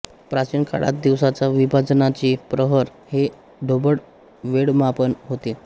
प्राचीन काळात दिवसाच्या विभाजनाचे प्रहर हे ढोबळ वेळमापन होते